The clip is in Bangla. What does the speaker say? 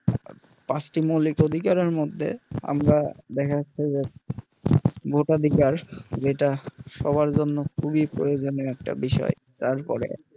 পাঁচটি মৌলিক অধিকারের মধ্যে আমরা দেখা যাচ্ছে যে ভোটাধিকার যেটা সবার জন্য খুবই প্রয়োজনিও একটা বিষয় তারপরে